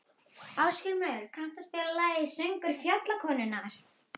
Ásgrímur, kanntu að spila lagið „Söngur fjallkonunnar“?